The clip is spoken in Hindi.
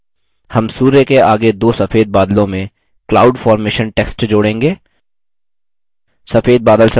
हम सूर्य के आगे दो सफेद बादलों में cloud formation text जोड़ेंगे